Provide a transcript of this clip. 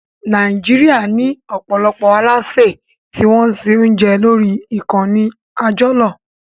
Nàìjíríà ní ọ̀pọ̀lọpọ̀ alásè tí wọ́n ń se oúnjẹ lórí ìkànnì àjọlò